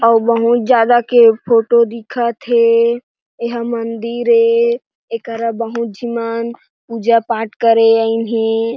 अऊ बहुत ज़्यादा के फोटो दिखथे। ऐह मंदिर हे। एकर बहुत झीमन पूजा पाठ करे आईन हे।